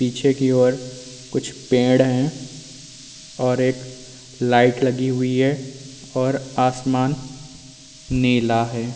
पीछे की और कुछ पेड़ हैं और एक लाइट लगी हुई है और आसमान नीला है।